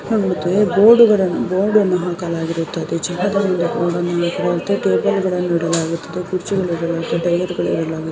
ಬೋರ್ಡ್ಗಳನ್ನೂ board ಅನ್ನು ಹಾಕಲಾಗಿ ಇರುತ್ತದೆ --